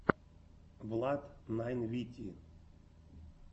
влад найн вити